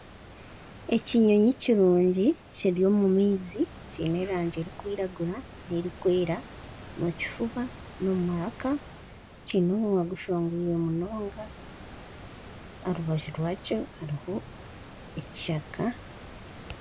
Ekinyonyi kirungi kiri omu maizi kiine erangi erikwiragura n'erikwera omu kifuba n'omu maraka kiine omunwa gushongwire munonga aha rubaju rwakyo hariho ekishaka